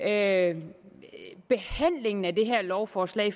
af det her lovforslag